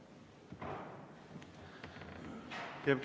Aitäh!